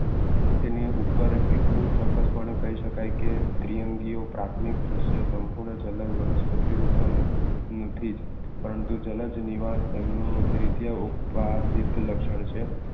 તેની ઉપર કેટલુ ચોક્કસપણે કહી શકાય કે દ્વિઅંગી પ્રાથમિક દ્રશ્ય સંપૂર્ણ વનસ્પતિઓ તો નથીજ પરંતુ જલજ નિવાસ તેમનું દ્વિતીય ઉપાર્જિત લક્ષણો છે.